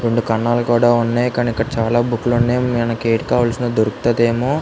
రెండు కణాలు కూడా ఉన్నాయి. కనుక చాలా బుక్ ఉన్నాయి. మనకి ఎం కావాల్సిన దొరుకుతదేమో --